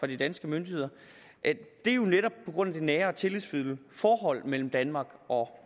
de danske myndigheder det er jo netop på grund af det nære tillidsfulde forhold mellem danmark og